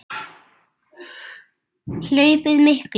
Hlaupið mikla